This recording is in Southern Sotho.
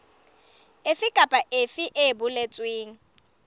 efe kapa efe e boletsweng